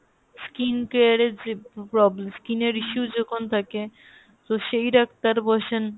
skin care এর যে problem skin এর issue যখন থাকে তো সেই ডাক্তার বসেন !